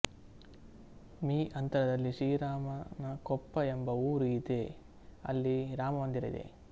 me ಅಂತರದಲ್ಲಿ ಶ್ರೀರಾಮನಕೊಪ್ಪ ಎಂಬ ಊರು ಇದೆ ಅಲ್ಲಿ ರಾಮ ಮಂದಿರ ಇದೆ